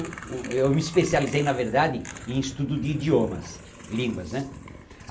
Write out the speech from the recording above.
Eu me especializei, na verdade, em estudo de idiomas, línguas né?